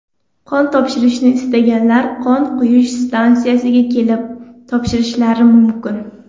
Qon topshirishni istaganlar qon quyish stansiyasiga kelib topshirishlari mumkin.